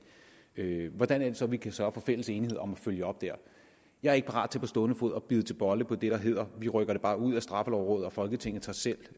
hvordan er det så vi kan sørge for fælles enighed om at følge op der jeg er ikke parat til på stående fod at bide til bolle på det der hedder vi rykker det bare ud af straffelovrådet og folketinget tager selv